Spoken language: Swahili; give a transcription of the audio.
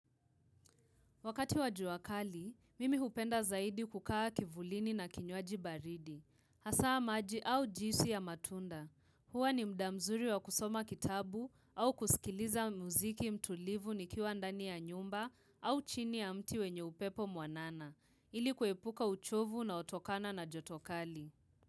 Wakati wa jua kali, mimi hupenda zaidi kukaa kivulini na kinywaji baridi. Hasaa maji au juisi ya matunda. Hua ni muda mzuri wa kusoma kitabu au kusikiliza muziki mtulivu nikiwa ndani ya nyumba au chini ya mti wenye upepo mwanana. Ili kuepuka uchovu unaotokana na joto kali.